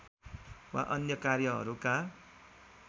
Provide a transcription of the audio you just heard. वा अन्य कार्यहरूका